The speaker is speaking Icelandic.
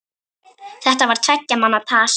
Þetta var tveggja manna tal.